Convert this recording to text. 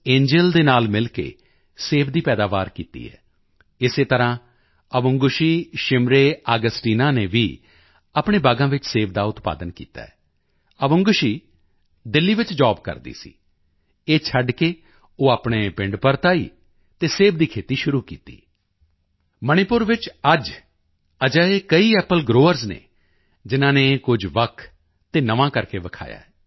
ਸ ਐਂਜਲ ਦੇ ਨਾਲ ਮਿਲ ਕੇ ਸੇਬ ਦੀ ਪੈਦਾਵਾਰ ਕੀਤੀ ਹੈ ਇਸੇ ਤਰ੍ਹਾਂ ਅਵੁੰਗਸ਼ੀ ਸ਼ਿਮਰੇ ਆਗਸਟੀਨਾ ਅਵੁੰਗਸ਼ੀ ਸ਼ਿਮਰੇ ਆਗਸਟੀਨਾ ਨੇ ਵੀ ਆਪਣੇ ਬਾਗਾਂ ਵਿੱਚ ਸੇਬ ਦਾ ਉਤਪਾਦਨ ਕੀਤਾ ਹੈ ਅਵੁੰਗਸ਼ੀ ਦਿੱਲੀ ਵਿੱਚ ਜੋਬ ਕਰਦੀ ਸੀ ਇਹ ਛੱਡ ਕੇ ਉਹ ਆਪਣੇ ਪਿੰਡ ਪਰਤ ਆਈ ਅਤੇ ਸੇਬ ਦੀ ਖੇਤੀ ਸ਼ੁਰੂ ਕੀਤੀ ਮਣੀਪੁਰ ਵਿੱਚ ਅੱਜ ਅਜਿਹੇ ਕਈ ਐਪਲ ਗਰੋਵਰਜ਼ ਹਨ ਜਿਨ੍ਹਾਂ ਨੇ ਕੁਝ ਵੱਖ ਅਤੇ ਨਵਾਂ ਕਰਕੇ ਦਿਖਾਇਆ ਹੈ